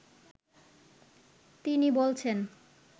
তিনি বলছেন